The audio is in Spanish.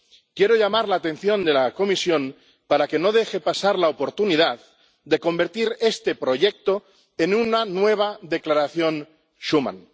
Quiero llamar la atención de la Comisión para que no deje pasar la oportunidad de convertir este proyecto en una nueva Declaración Schuman.